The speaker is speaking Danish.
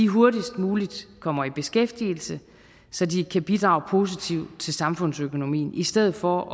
hurtigst muligt kommer i beskæftigelse så de kan bidrage positivt til samfundsøkonomien i stedet for